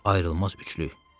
Ayrılmaz üçlük.